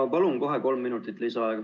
Ma palun kohe kolm minutit lisaaega.